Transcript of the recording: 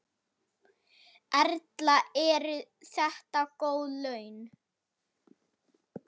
Erla: Eru þetta góð laun?